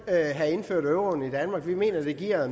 have indført euroen i danmark vi mener det giver